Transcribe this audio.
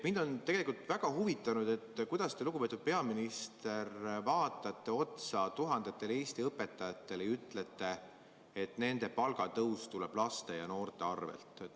Mind on tegelikult väga huvitanud, kuidas te, lugupeetud peaminister, vaatate otsa tuhandetele Eesti õpetajatele ja ütlete, et nende palgatõus tuleb laste ja noorte arvel.